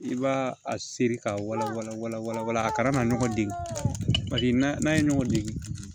I b'a a seri ka wala wala a kana na ɲɔgɔn degi paseke n'a ye ɲɔgɔn dege